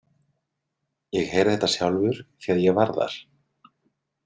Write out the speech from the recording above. Ég heyrði þetta sjálfur því að ég var þar.